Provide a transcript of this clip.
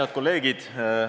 Head kolleegid!